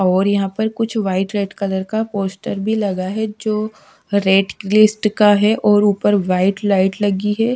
और यहां पे कुछ व्हाइट रेड कलर का पोस्टर भी लगा है जो रेट लिस्ट का है और ऊपर व्हाइट लाइट लगी है।